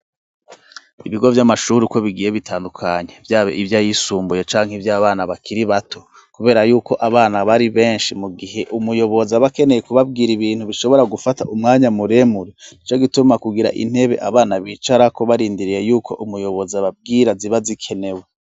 Ibigo by'amashuri ko bigiye bitandukanye, byaba ibyo ayisumbuye canke iby abana bakiri bato kubera yuko abana bari benshi mu gihe umuyobozi abakeneye kubabwira ibintu bishobora gufata umwanya muremuri ndeco gituma kugira intebe abana bicara ko barindiriye yuko umuyobozi ababwira ziba zikenewe.